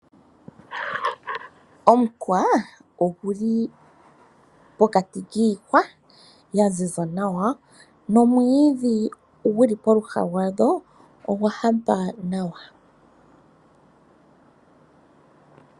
Omukwa oguli pokati kiihwa yaziza nawa nomwiidhi guli pooha dhago ogwa hapa nawa .